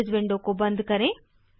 अब इस विंडो को बंद करें